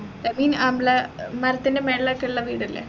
that mean നമ്മളെ മരത്തിൻറെ മേലൊക്കെള്ള വീടില്ലെ